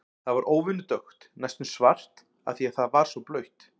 Það var óvenju dökkt, næstum svart, af því að það var svo blautt.